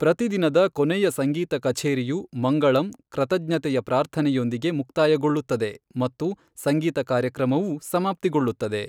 ಪ್ರತಿ ದಿನದ ಕೊನೆಯ ಸಂಗೀತ ಕಛೇರಿಯು ಮಂಗಳಂ, ಕೃತಜ್ಞತೆಯ ಪ್ರಾರ್ಥನೆಯೊಂದಿಗೆ ಮುಕ್ತಾಯಗೊಳ್ಳುತ್ತದೆ ಮತ್ತು ಸಂಗೀತ ಕಾರ್ಯಕ್ರಮವೂ ಸಮಾಪ್ತಿಗೊಳ್ಳುತ್ತದೆ.